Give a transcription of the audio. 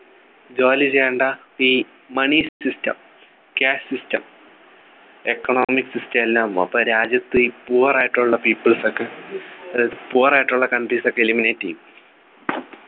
ജോലി ചെയ്യണ്ട ഈ Money system Cash system economic system എല്ലാം അപ്പൊ രാജ്യത്ത് ഈ poor ആയിട്ടുള്ള people സ് ഒക്കെ ഏർ Poor ആയിട്ടുള്ള countries ഒക്കെ Eliminate ചെയ്യും